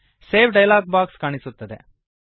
save dialog box ಕಾಣಿಸುತ್ತದೆ